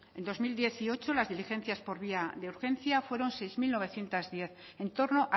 en dos mil dieciocho las diligencias por vía de urgencia fueron seis mil novecientos diez en torno